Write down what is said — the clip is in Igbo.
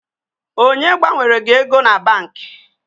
Onye gbanwere gị ego na banki?